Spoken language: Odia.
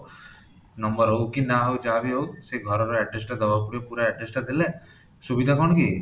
number ହଉ କି ନାଁ ବି ହଉ ଯାହା ବି ହଉ ସେ ଘର ର address ଟା ଦବାକୁ ପଡିବ ପୁରା address ଟା ଦେଲେ ସୁବିଧା କଣ କି ?